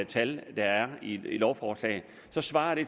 tal der er i lovforslaget svarer